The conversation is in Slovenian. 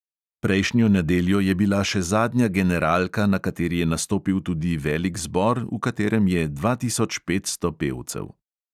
Prejšnjo nedeljo je bila še zadnja generalka, na kateri je nastopil tudi velik zbor, v katerem je dva tisoč petsto pevcev.